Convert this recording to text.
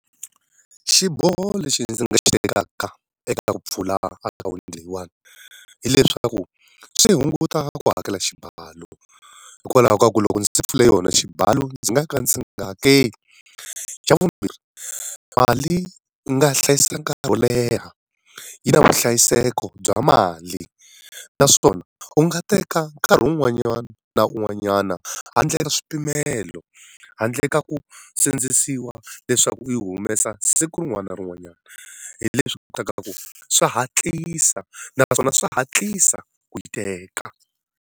Xiboho lexi ndzi nga xi tekaka eka ta ku pfula akhawunti leyiwani, hileswaku swi hunguta ku hakela xibalo. Hikwalaho ka ku loko ndzi pfule yona xibalo ndzi nga ka ndzi nga hakeli. Xa vumbirhi mali u nga hlayisa nkarhi wo leha, yi na vuhlayiseki bya mali. Naswona u nga teka nkarhi wun'wanyana na un'wanyana handle ri swipimelo, handle ka ku sindzisiwa leswaku u yi humesa siku rin'wani na rin'wanyana. Hi leswi kotaka ku swi hatlisa na naswona swi hatlisa ku yi teka.